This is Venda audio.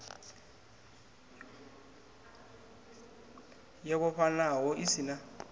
yo vhofhanaho i si na